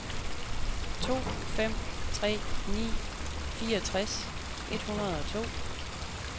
to fem tre ni fireogtres et hundrede og to